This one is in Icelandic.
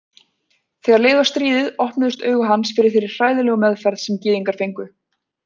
Þegar leið á stríðið opnuðust augu hans fyrir þeirri hræðilegu meðferð sem gyðingar fengu.